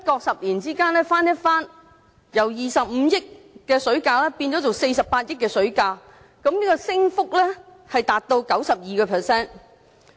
十年之間翻一番，水價不經不覺就由25億元變為48億元，升幅高達 92%。